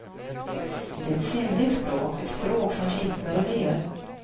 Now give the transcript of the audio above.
Det är ett sinnligt språk, ett språk som kittlar och ler.